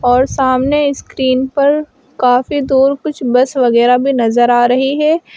और सामने स्क्रीन पर काफी दूर कुछ बस वगैरह भी नजर आ रही है।